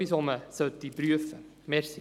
Wir kommen zum Traktandum 55.